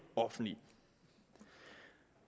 offentlige